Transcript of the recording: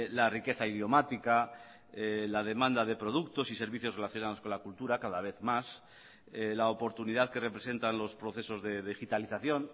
la riqueza idiomática la demanda de productos y servicios relacionados con la cultura cada vez más la oportunidad que representan los procesos de digitalización